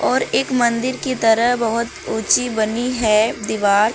और एक मंदिर की तरह बहुत ऊंची बनी है दीवार।